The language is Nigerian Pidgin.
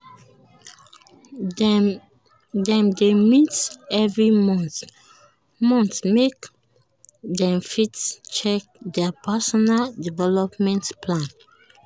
dem dey meet every month month make dem fit check their personal developement plan.